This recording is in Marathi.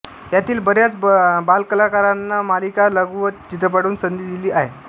यातील बऱ्याच बालकलाकारांना मालिका व लघु चित्रपटातून संधी दिली आहे